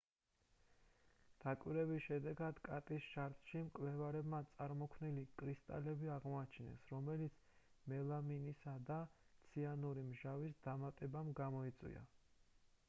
დაკვირვების შედეგად კატის შარდში მკვლევარებმა წარმოქმნილი კრისტალები აღმოაჩინეს რომელიც მელამინის და ციანური მჟავის დამატებამ გამოიწვია